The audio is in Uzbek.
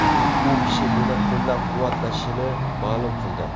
U kishi meni qo‘llab-quvvatlashini ma’lum qildi.